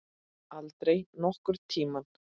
Aldrei nokkurn tímann.